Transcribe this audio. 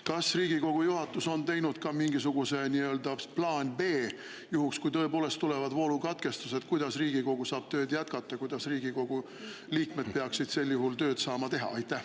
Kas Riigikogu juhatus on teinud ka mingisuguse plaani B, juhuks kui tõepoolest tulevad voolukatkestused, kuidas saab Riigikogu tööd jätkata, kuidas Riigikogu liikmed peaksid sel juhul tööd saama teha?